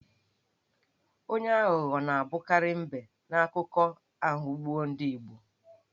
Onye aghụghọ na-abụkarị M̀bé n'akụkọ aghụgbọ ndị Igbo.